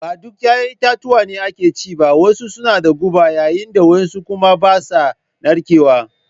Ba duk 'ya'yan itatuwa ne ake ci ba, wasu suna da guba yayin da wasu kuma ba sa narkewa